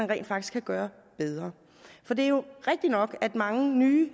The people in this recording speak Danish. rent faktisk kan gøre bedre for det er jo rigtig nok at mange nye